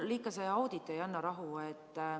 Mulle ikka see audit ei anna rahu.